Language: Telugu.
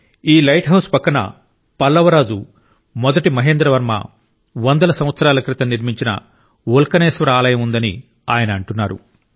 ఈ లైట్ హౌస్ పక్కన పల్లవ రాజు మొదటి మహేంద్ర వర్మ వందల సంవత్సరాల క్రితం నిర్మించిన ఉల్కనేశ్వర ఆలయం ఉందని ఆయన అంటున్నారు